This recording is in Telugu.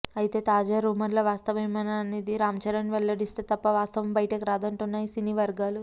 అయితే తాజా రూమర్ల వస్తావమేనా అనేది రాంచరణ్ వెల్లడిస్తే తప్పా వాస్తవం బయటకు రాదంటున్నాయి సినీ వర్గాలు